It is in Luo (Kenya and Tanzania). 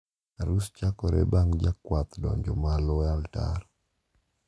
Arus chakore bang` jakwath donjo malo e altar.